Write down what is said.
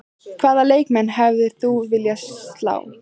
Hvaða leikmann hefðir þú viljað slá?